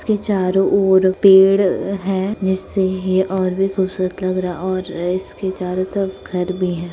-- के चारों ओर पेड़ अ है जिससे यह और भी खूबसूरत लग रहा है और इसके चारों तरफ घर भी हैं।